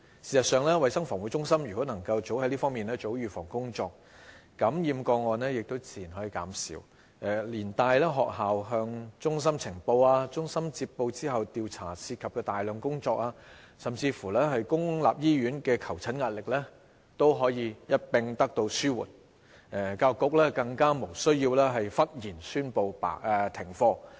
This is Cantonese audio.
事實上，衞生防護中心若及早在這方面做好預防工作，感染個案自然可以減少，連帶學校向衞生防護中心呈報個案、衞生防護中心接報後進行調查涉及的大量工作，甚至公立醫院的求診壓力也可一併得到紓緩，教育局更無須忽然宣布停課。